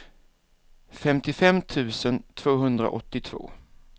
femtiofem tusen tvåhundraåttiotvå